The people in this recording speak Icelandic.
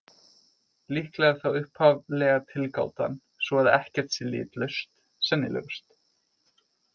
Líklega er þá upphaflega tilgátan, sú að ekkert sé litlaust, sennilegust.